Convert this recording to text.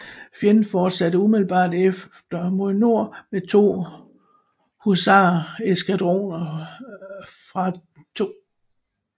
Fjenden fortsatte umiddelbart efter mod nord med to husareskadroner fra 2